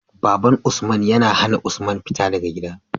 Baban usman ya hAna usman fita daka gida